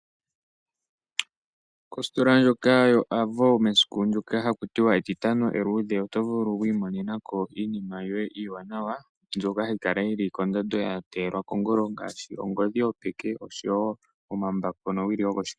Kositola ndjoka yo Avo mesiku lyoka haku tiwa etitano eluudhe, oto vulu wi imonenako iinima yoye iiwanawa, mbyoka hayi kala yili kondando ya teyelwa kongolo ngaashi, ongodhi yopeke, nosho wo omambako nowili yo koshikesho.